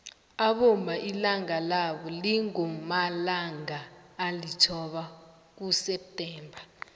abomma ilanga labo lingomalangaa elithoba kuseptemba